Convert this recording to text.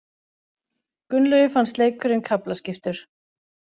Gunnlaugi fannst leikurinn kaflaskiptur.